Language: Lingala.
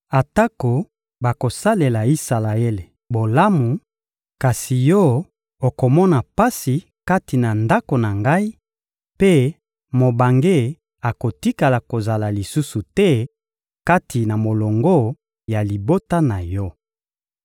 Atako bakosalela Isalaele bolamu, kasi yo okomona pasi kati na Ndako na Ngai; mpe mobange akotikala kozala lisusu te kati na molongo ya libota na yo.